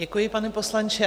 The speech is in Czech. Děkuji, pane poslanče.